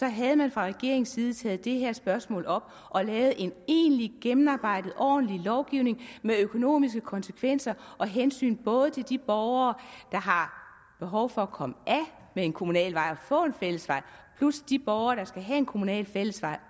havde man fra regeringens side taget det her spørgsmål op og lavet en egentlig gennemarbejdet ordentlig lovgivning med økonomiske konsekvenser og hensyn både til de borgere der har behov for at komme af med en kommunal vej og få en fællesvej plus de borgere der skal have en kommunal fællesvej